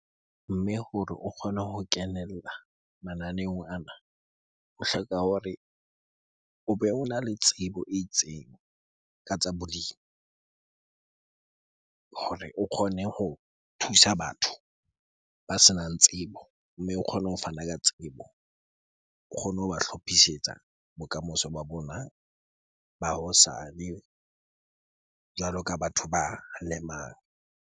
Mme hore o kgone ho kenella mananeong ana. O hloka hore o be ona le tsebo e itseng ka tsa bolemi hore o kgone ho thusa batho ba senang tsebo. Mme o kgone ho fana ka tsebo, o kgone ho ba hlophisetsa bokamoso ba bona ba hosane jwalo ka batho ba lemang.